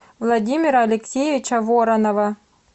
владимира алексеевича воронова